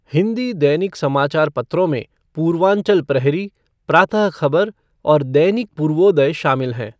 हिंदी दैनिक समाचार पत्रों में पूर्वांचल प्रहरी, प्रातः खबर और दैनिक पूर्वोदय शामिल हैं।